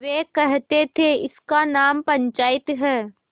वे कहते थेइसका नाम पंचायत है